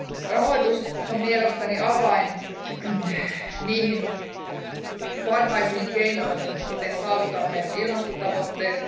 Rahoitus on mielestäni avain niihin parhaisiin keinoihin, miten saavutamme ilmastotavoitteet.